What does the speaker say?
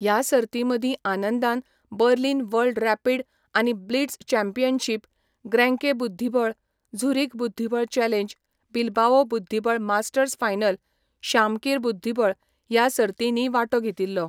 ह्या सर्तीं मदीं आनंदान बर्लिन वर्ल्ड रॅपिड आनी ब्लिट्झ चॅम्पियनशिप, ग्रेंके बुध्दिबळ, झुरिक बुध्दिबळ चॅलेंज, बिल्बाओ बुध्दिबळ मास्टर्स फायनल, शामकीर बुध्दिबळ ह्या सर्तींनीय वांटो घेतिल्लो.